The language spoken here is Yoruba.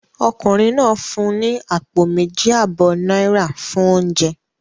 Ọkùnrin náà fún ní àpò méjì àbọ̀ náírà fún oúnjẹ